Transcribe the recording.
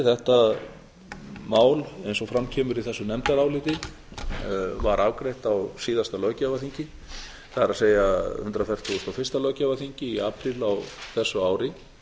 þetta mál eins og fram kemur í þessu nefndaráliti sem var afgreitt á síðasta löggjafarþingi það er hundrað fertugasta og fyrsta löggjafarþingi í apríl á þessu ári